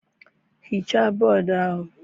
Hichaa bọọdụ ahụ